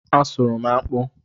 A sụrụ m akpụ